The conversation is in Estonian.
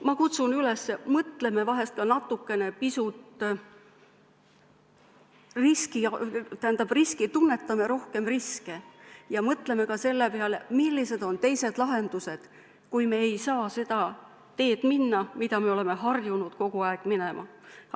Ma kutsun üles tunnetama natukene rohkem riske ja mõtlema ka selle peale, millised on teised lahendused, kui me ei saa minna seda teed, mida mööda oleme harjunud kogu aeg minema!